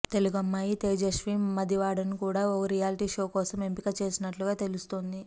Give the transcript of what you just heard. తెలుగమ్మాయి తేజస్వి మదివాడను కూడా ఈ రియాల్టీ షో కోసం ఎంపిక చేసినట్లుగా తెలుస్తోంది